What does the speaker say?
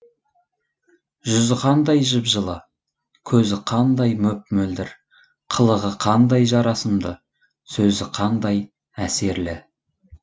жүзі қандай жып жылы көзі қандай мөп мөлдір қылығы қандай жарасымды сөзі қандай әсерлі